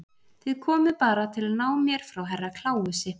Þið komuð bara til að ná mér frá Herra Kláusi.